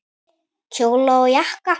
Kjóla og jakka.